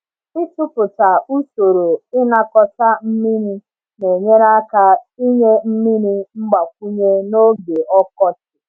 Ịtụpụta usoro ịnakọta mmiri na-enyere aka inye mmiri mgbakwunye n’oge ọkọchị.